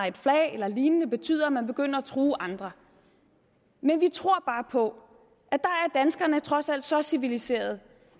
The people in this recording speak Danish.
et flag eller lignende betyder at man begynder at true andre men vi tror bare på at trods alt så civiliserede